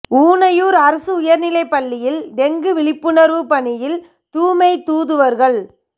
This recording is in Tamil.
ஊனையூர் அரசு உயர்நிலைப் பள்ளியில் டெங்கு விழிப்புணர்வு பணியில் தூய்மை தூதுவர்கள்